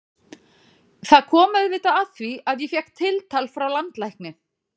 Það kom auðvitað að því að ég fékk tiltal frá landlækni.